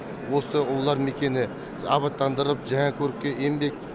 осы ұлылар мекені абаттандырылып жаңа көрікке енбек